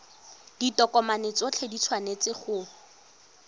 ditokomane tsotlhe di tshwanetse go